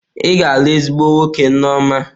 Ị ga-alụ ezigbo nwoke, Nneoma.